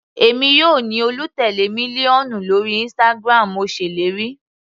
Èmi yóò ní olùtèlé mílíọ̀nù lórí Instagram, mo ṣèlérí.